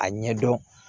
A ɲɛdɔn